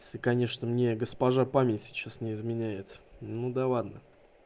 если конечно мне госпожа память сейчас не изменяет ну да ладно